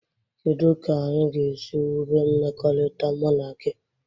Kedụ ka anyị ga esi wube mmekọrịta mụ na gị?